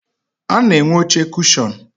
A na-enwe oche kushọn.